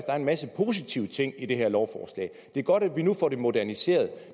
er en masse positive ting i det her lovforslag det er godt at vi nu får det moderniseret